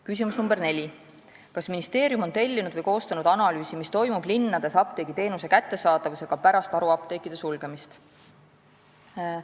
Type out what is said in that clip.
Küsimus nr 4: "Kas ministeerium on tellinud või koostanud analüüsi, mis toimub linnades apteegiteenuse kättesaadavusega pärast haruapteekide sulgemist?